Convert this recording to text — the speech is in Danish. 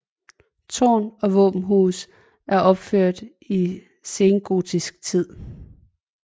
Tårn og våbenhus er opført i sengotisk tid